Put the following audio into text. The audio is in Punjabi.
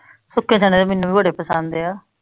ਸੁੱਖੇ ਚਨੇ ਮੈਨੂੰ ਭੀ ਬੜੇ ਪਸੰਦ ਆ